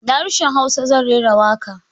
Da harshen hausa zan rera waƙa